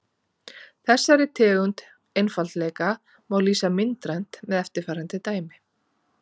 þessari tegund einfaldleika má lýsa myndrænt með eftirfarandi dæmi